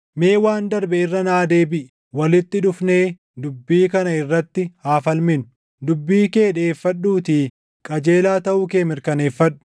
Mee waan darbe irra naa deebiʼi; walitti dhufnee dubbii kana irratti haa falminu; dubbii kee dhiʼeeffadhuutii qajeelaa taʼuu kee mirkaneeffadhu.